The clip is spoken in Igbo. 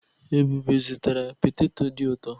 Ebube zụtara petetọ dị utọ.